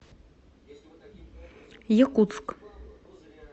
якутск